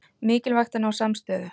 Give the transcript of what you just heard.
Mikilvægt að ná samstöðu